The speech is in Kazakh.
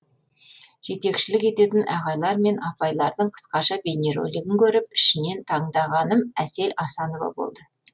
жетекшілік ететін ағайлар мен апайлардың қысқаша бейнеролигін көріп ішінен таңдағаным әсел асанова болды